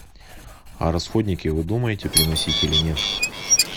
а расходники вы думаете приносить или нет